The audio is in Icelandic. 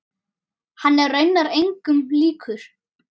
Hann er raunar engum líkur.